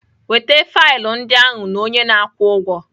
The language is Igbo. Weta faịlụ ndị ahụ na onye na-akwụ ụgwọ